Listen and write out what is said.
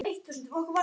Boltinn fór inn.